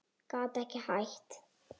Gat ekki hætt.